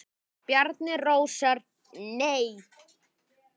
Bjarni Rósar Nei.